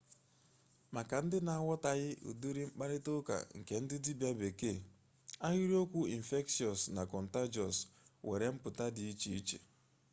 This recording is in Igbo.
maka ndị na-aghọtaghị ụdịrị mkparịta ụka nke ndị dibia bekee ahịrịokwu okwu infectious na contagious nwere mpụta dị iche iche